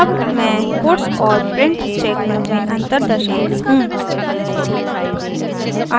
अब मैं puts और print स्टेटमेंट में अंतर दर्शाती हूँ